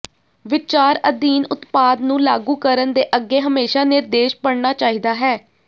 ਵਿਚਾਰ ਅਧੀਨ ਉਤਪਾਦ ਨੂੰ ਲਾਗੂ ਕਰਨ ਦੇ ਅੱਗੇ ਹਮੇਸ਼ਾ ਨਿਰਦੇਸ਼ ਪੜ੍ਹਨਾ ਚਾਹੀਦਾ ਹੈ